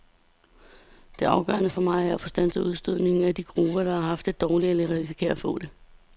Det afgørende for mig er at få standset udstødningen af de grupper, der har haft det dårligt eller risikerer at få det.